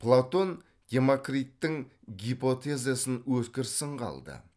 платон демокриттің гипотезасын өткір сынға алды